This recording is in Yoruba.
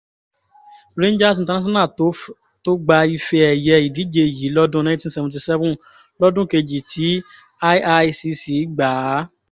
rangers international tó gba ife-ẹ̀yẹ ìdíje yìí lọ́dún cs] nineteen seventy seven lọ́dún kejì tí iicc gbà á